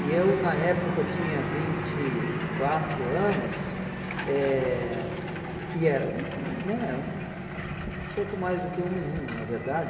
E eu na época tinha vinte e quatro anos eh e era hum né hum um pouco mais do que um menino, na verdade.